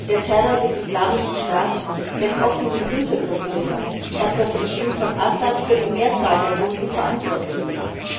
Der Terror des islamischen Staats lässt oft in den Hintergrund treten, dass das Regime von Assad für die Mehrzahl der Toten verantwortlich ist.